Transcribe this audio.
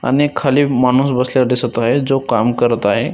आणि खाली माणूस बसलेला दिसत आहे जो काम करत आहे.